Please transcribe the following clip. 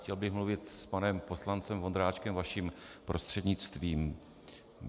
Chtěl bych mluvit s panem poslancem Vondráčkem vaším prostřednictvím.